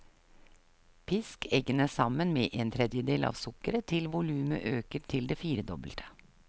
Pisk eggene sammen med en tredjedel av sukkeret til volumet øker til det firedobbelte.